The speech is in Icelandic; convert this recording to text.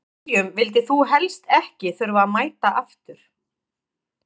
Hverjum vildir þú helst ekki þurfa að mæta aftur?